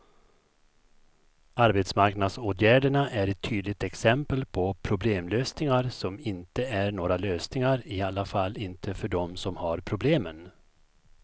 Arbetsmarknadsåtgärderna är ett tydligt exempel på problemlösningar som inte är några lösningar, i alla fall inte för dem som har problemen.